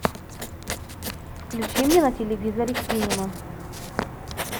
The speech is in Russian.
включи мне на телевизоре синема